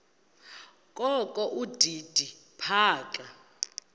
kokho udidi phaka